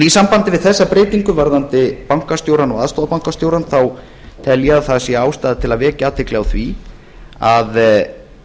í sambandi við þessa breytingu varðandi bankastjórann og aðstoðarbankastjórann tel ég að það sé ástæða til að vekja athygli á því að að